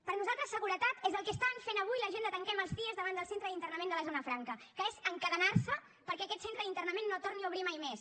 per nosaltres seguretat és el que estan fent avui la gent de tanquem els cie davant del centre d’internament de la zona franca que és encadenar se perquè aquest centre d’internament no torni a obrir mai més